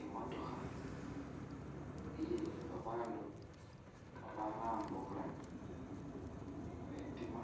I'motokha iye babandu abalambuula khetima